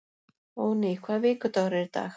Óðný, hvaða vikudagur er í dag?